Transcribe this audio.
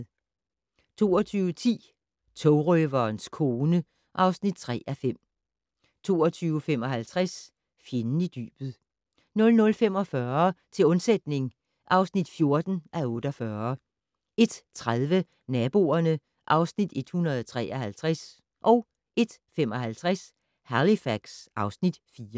22:10: Togrøverens kone (3:5) 22:55: Fjenden i dybet 00:45: Til undsætning (14:48) 01:30: Naboerne (Afs. 153) 01:55: Halifax (Afs. 4)